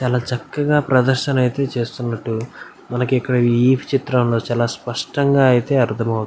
చాలా చక్కగా ప్రదర్శనైతే చేస్తునట్టు మనకు ఈ చిత్రంలో చాలా స్పష్టంగా ఐతే అర్దమవ --